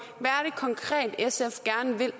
konkret sf gerne vil